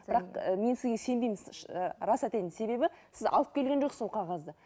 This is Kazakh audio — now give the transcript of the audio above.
бірақ і мен сізге сенбеймін ы рас айтайын себебі сіз алып келген жоқсың ол қағазды